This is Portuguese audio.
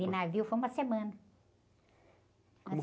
De navio foi uma semana.